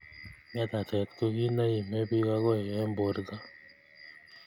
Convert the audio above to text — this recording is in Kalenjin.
Ngetatet ko ki neimibich akoi eng birto.